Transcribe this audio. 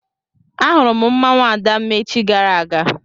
Ahụrụ m mmanwụ Adamma echi gara aga.